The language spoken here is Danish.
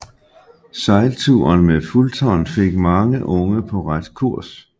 Sejlturen med Fulton fik mange unge på ret kurs